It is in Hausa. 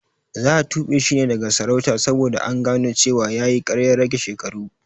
Za a tube shi daga sarauta saboda gano cewa yayi karyar rage shekaru